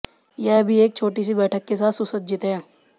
यह भी एक छोटी सी बैठक के साथ सुसज्जित है